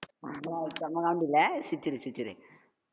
ஆமா செம்ம comedy ல சிரிச்சிரு, சிரிச்சிடு.